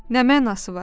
Nə mənası var?